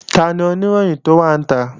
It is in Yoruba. Tani Oníròyìn tó wà níta?